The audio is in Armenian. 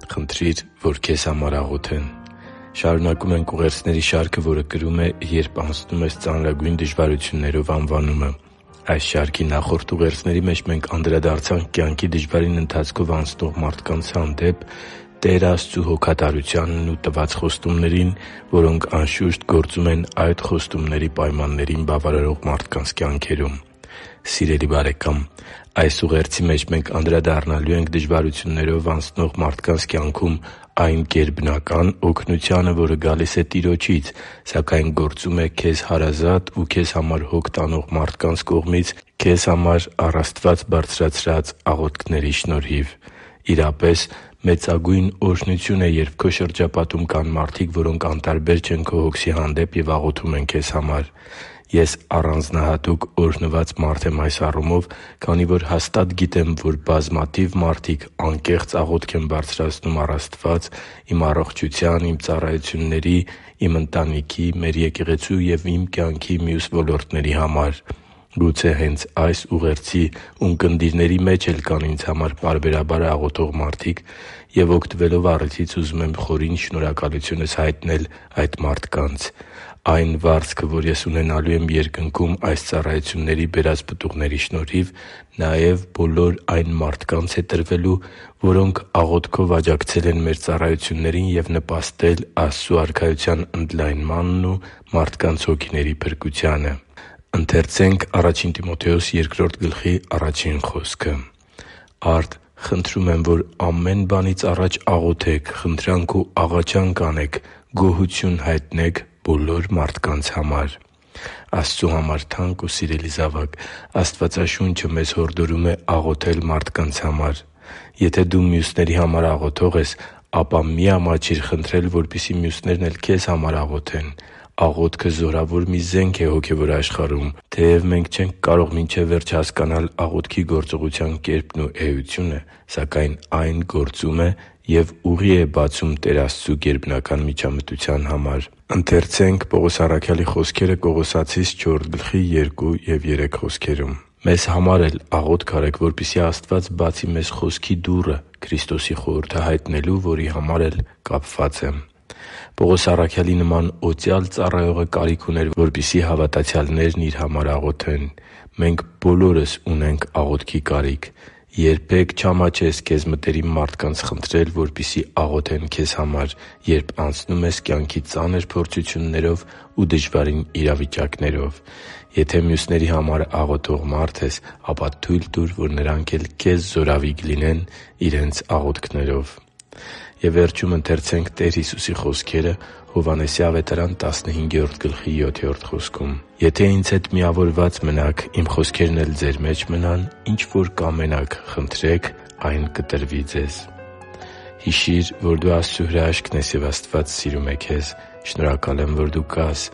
Խնդրի՛ր, որ քեզ համար աղոթեն Շարունակում ենք ուղերձների շարքը, որը կրում է «Երբ անցնում ես ծանրագույն դժվարություններով» անվանումը։ Այս շարքի նախորդ ուղերձների մեջ մենք անդրադարձանք կյանքի դժվարին ընթացքով անցնող մարդկանց հանդեպ Տեր Աստծու հոգատարությանն ու տված խոստումներին, որոնք, անշուշտ, գործում են այդ խոստումների պայմաններին բավարարող մարդկանց կյանքերում։ Սիրելի՛ բարեկամ, այս ուղերձի մեջ մենք անդրադառնալու ենք դժվարություններով անցնող մարդկանց կյանքում այն գերբնական օգնությանը, որը գալիս է Տիրոջից, սակայն գործում է քեզ հարազատ ու քեզ համար հոգ տանող մարդկանց կողմից քեզ համար առ Աստված բարձրացրած աղոթքների շնորհիվ։ Իրապես, մեծագույն օրհնություն է, երբ քո շրջապատում կան մարդիկ, որոնք անտարբեր չեն քո հոգսի հանդեպ և աղոթում են քեզ համար։ Ես առանձնահատուկ օրհնված մարդ եմ այս առումով, քանի որ հաստատ գիտեմ, որ բազմաթիվ մարդիկ անկեղծ աղոթք են բարձրացնում առ Աստված իմ առողջության, իմ ծառայությունների, իմ ընտանիքի, մեր եկեղեցու և իմ կյանքի մյուս ոլորտների համար։ Գուցե հե՛նց այս ուղերձի ունկնդիրների մեջ էլ կան ինձ համար պարբերաբար աղոթող մարդիկ և, օգտվելով առիթից, ուզում եմ իմ խորին շնորհակալությունը հայտնել այդ մարդկանց։ Այն վարձքը, որ ես ունենալու եմ Երկնքում այս ծառայությունների բերած պտուղների շնորհիվ, նաև բոլոր այն մարդկանց է տրվելու, որոնք աղոթքով աջակցել են մեր ծառայություններին և նպաստել Աստծու Արքայության ընդլայմանն ու մարդկանց հոգիների փրկությանը։ «Արդ, խնդրում եմ, որ ամեն բանից առաջ աղոթեք, խնդրանք ու աղաչանք անեք, գոհություն հայտնեք բոլոր մարդկանց համար․․․ » (Ա Տիմոթեոս 2․1 ՆՎԱԱ): Աստծու համար թանկ ու սիրելի՛ զավակ, Աստվածաշունչը մեզ հորդորում է աղոթել մարդկանց համար։ Եթե դու մյուսների համար աղոթող ես, ապա մի՛ ամաչիր խնդրել, որպեսզի մյուսներն էլ քեզ համար աղոթեն։ Աղոթքը զորավոր մի զենք է հոգևոր աշխարհում։ Թեև մենք չենք կարող մինչև վերջ հասկանալ աղոթքի գործողության կերպն ու էությունը, սակայն այն գործում է և ուղի է բացում Տեր Աստծու գերբնական միջամտության համար։ «Մշտապես աղոթե՛ք ու գոհունակությամբ արթո՛ւն կացեք նրա մեջ։ Մեզ համա՛ր էլ աղոթք արեք, որպեսզի Աստված բացի մեզ խոսքի դուռը՝ Քրիստոսի խորհուրդը հայտնելու, որի համար էլ կապված եմ» (Կողոսացիս 4․2-3 ՆՎԱԱ): Պողոս առաքյալի նման օծյալ ծառայողը կարիք ուներ, որպեսզի հավատացյալներն իր համար աղոթեն։ Մենք բոլորս ունենք աղոթքի կարիք։ Երբե՛ք չամաչես քեզ մտերիմ մարդկանց խնդրել, որպեսզի աղոթեն քեզ համար, երբ անցնում ես կյանքի ծանր փորձություններով ու դժվարին իրավիճակներով։ Եթե մյուսների համար աղոթող մարդ ես, ապա թույլ տուր, որ նրանք էլ քեզ զորավիգ լինեն իրենց աղոթքներով։ «Եթե Ինձ հետ միավորված մնաք, Իմ խոսքերն էլ ձեր մեջ մնան, ինչ որ կամենաք, խնդրեք, այն ձեզ կտրվի» (Հովհաննես 15․7 ՆՎԱԱ): Հիշի՛ր, որ դու Աստծո հրաշքն ես, և Աստված սիրում է քեզ։ Շնորհակալ եմ, որ դու կա՛ս